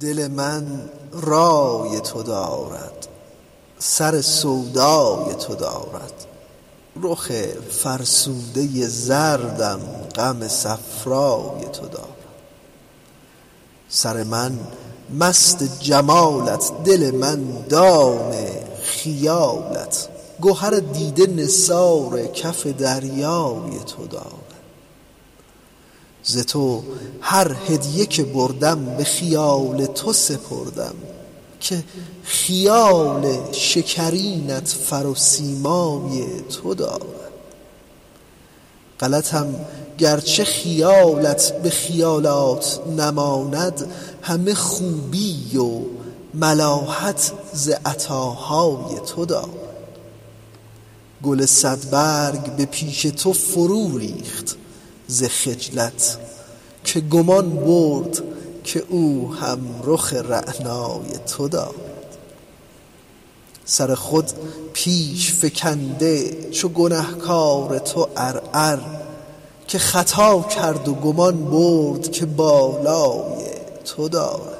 دل من رای تو دارد سر سودای تو دارد رخ فرسوده زردم غم صفرای تو دارد سر من مست جمالت دل من دام خیالت گهر دیده نثار کف دریای تو دارد ز تو هر هدیه که بردم به خیال تو سپردم که خیال شکرینت فر و سیمای تو دارد غلطم گرچه خیالت به خیالات نماند همه خوبی و ملاحت ز عطاهای تو دارد گل صدبرگ به پیش تو فروریخت ز خجلت که گمان برد که او هم رخ رعنای تو دارد سر خود پیش فکنده چو گنه کار تو عرعر که خطا کرد و گمان برد که بالای تو دارد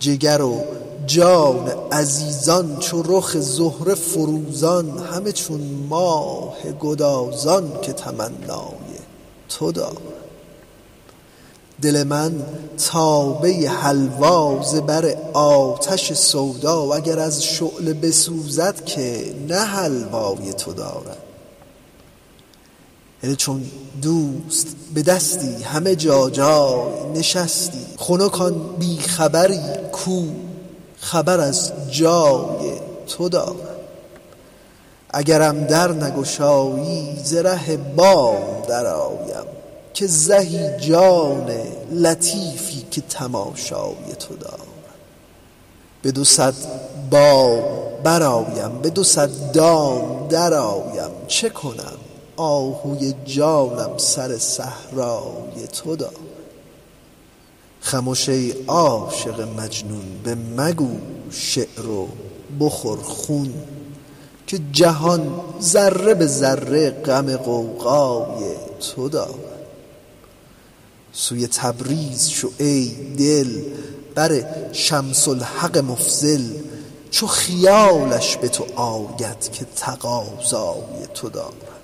جگر و جان عزیزان چو رخ زهره فروزان همه چون ماه گدازان که تمنای تو دارد دل من تابه حلوا ز بر آتش سودا اگر از شعله بسوزد نه که حلوای تو دارد هله چون دوست بدستی همه جا جای نشستی خنک آن بی خبری کو خبر از جای تو دارد اگرم در نگشایی ز ره بام درآیم که زهی جان لطیفی که تماشای تو دارد به دو صد بام برآیم به دو صد دام درآیم چه کنم آهوی جانم سر صحرای تو دارد خمش ای عاشق مجنون بمگو شعر و بخور خون که جهان ذره به ذره غم غوغای تو دارد سوی تبریز شو ای دل بر شمس الحق مفضل چو خیالش به تو آید که تقاضای تو دارد